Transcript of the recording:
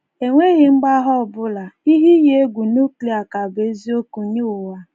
E nweghi mgbagha ọ bụla, ihe iyi egwu núklia ka bụ́ eziiokwu nye ụwa.